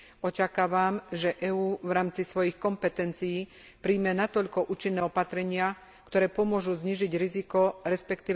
Očakávam, že EÚ v rámci svojich kompetencií príjme natoľko účinné opatrenia, ktoré pomôžu znížiť riziko, resp.